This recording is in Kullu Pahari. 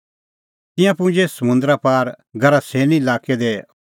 तिंयां पुजै समुंदरा पार गरासेनी लाक्कै दी